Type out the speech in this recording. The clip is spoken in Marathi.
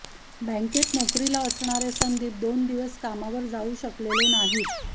बँकेत नोकरीला असणारे संदीप दोन दिवस कामावर जाऊ शकलेले नाहीत